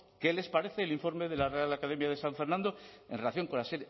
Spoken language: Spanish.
qué les parece el informe de la real academia de san fernando en relación con las